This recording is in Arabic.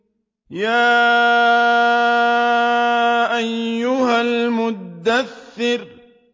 يَا أَيُّهَا الْمُدَّثِّرُ